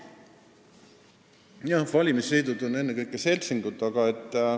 Valimisliidud on ennekõike seltsingud.